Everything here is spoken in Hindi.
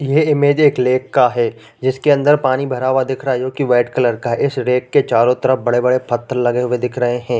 ये इमेज एक लेक का है जिसके अंदर पानी भरा हुआ दिख रहा है जोकि वाइट कलर का है इस लेक के चारों तरफ बड़े-बड़े पत्थर लगे हुए दिख रहे हैं ।